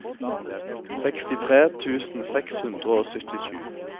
sekstitre tusen seks hundre og syttisju